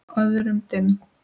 Öðrum dimm.